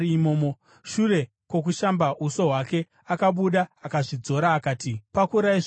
Shure kwokushamba uso hwake, akabuda uye akazvidzora, akati “Pakurai zvokudya.”